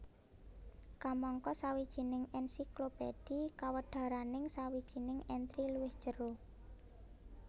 Kamangka sawijining ènsiklopédhi kawedaraning sawijining entri luwih jero